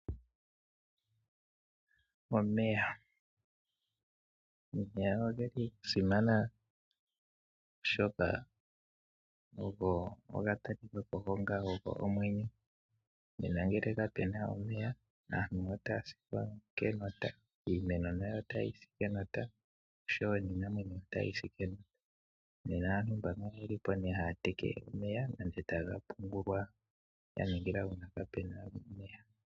Omeya, omeya ogeli gasimana oshoka oho ga talikako onga ogo omwenyo, nena ngele kapuna omeya aantu otaya si kenota, iimeno nayo woo otayi si kenota osho woo iinamwenyo. Nena aantu mboka oyeli haya te ke omeya nenge taye ga pungula ga ningila uuna kaapuna omeya.